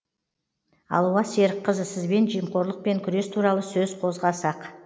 алуа серікқызы сізбен жемқорлықпен күрес туралы сөз қозғасақ